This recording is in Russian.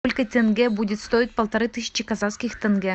сколько тенге будет стоить полторы тысячи казахских тенге